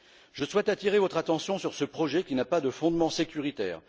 Je souhaite attirer votre attention sur ce projet qui n'a pas de fondement sécuritaire.